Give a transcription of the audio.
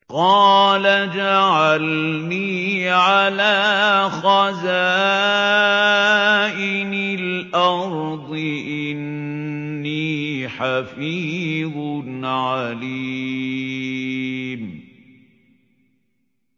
قَالَ اجْعَلْنِي عَلَىٰ خَزَائِنِ الْأَرْضِ ۖ إِنِّي حَفِيظٌ عَلِيمٌ